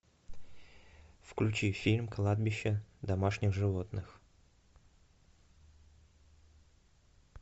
включи фильм кладбище домашних животных